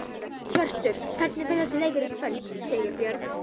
Hjörtur: Hvernig fer þessi leikur í kvöld, Sigurbjörn?